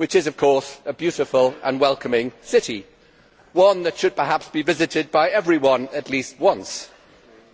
It is, of course, a beautiful and welcoming city, one that should perhaps be visited by everyone at least once,